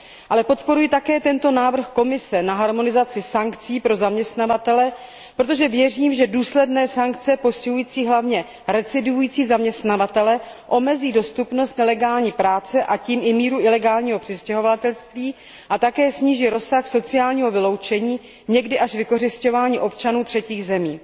Ale podporuji také tento návrh Komise na harmonizaci sankcí pro zaměstnavatele, protože věřím, že důsledné sankce postihující hlavně recidivující zaměstnavatele omezí dostupnost nelegální práce a tím i míru ilegálního přistěhovalectví a také sníží rozsah sociálního vyloučení, někdy až vykořisťování, občanů třetích zemí.